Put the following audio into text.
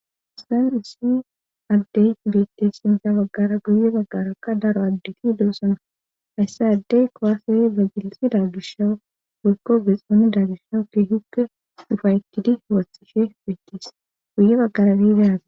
Histan issi addey bette xinta baggara guye baggarakka daro addeti doosana hayssa addey kowaseye bagilisi daa gishawu werko gexooni daagishawu keehukke dufaytidi warthishe beettes guye baggara bidaaza.